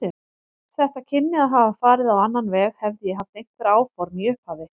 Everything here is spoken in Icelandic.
Þetta kynni að hafa farið á annan veg, hefði ég haft einhver áform í upphafi.